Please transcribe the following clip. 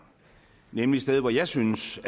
nemlig et sted hvor jeg synes